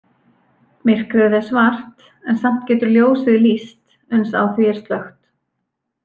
Myrkrið er svart en samt getur ljósið lýst uns á því er slökkt.